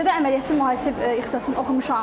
Peşədə əməliyyatçı mühasib ixtisasını oxumuşam.